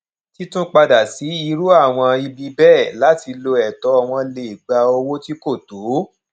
títún padà sí irú àwọn ibi bẹẹ láti lo ẹtọ wọn lè gba owó tí kò tó